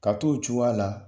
Ka to o cogoya a la